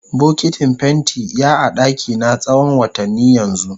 Bokitin fenti ya a dakina tsawon watanni yanzu.